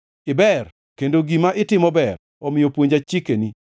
Iber, kendo gima itimo ber; omiyo puonja chikeni.